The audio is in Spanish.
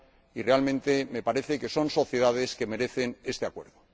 Y, realmente, me parece que son sociedades que merecen este Acuerdo.